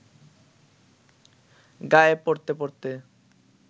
গায়ে পরতে পরতে